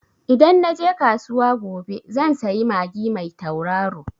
Idan na je kasuwa gobe zan sayi magi mai tauraro.